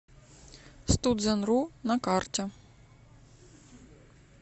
стутзенру на карте